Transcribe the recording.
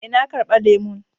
Eh, na karba lemun.